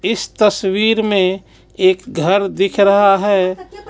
इस तस्वीर में एक घर दिख रहा है.